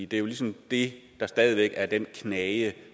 det er jo ligesom det der stadig væk er den knage